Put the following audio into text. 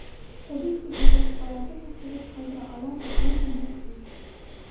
Tabiiyki u boshqalarda taassurot qoldira olardi”, deydi Messi.